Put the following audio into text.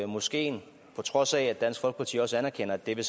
moskeen på trods af at dansk folkeparti også anerkender at det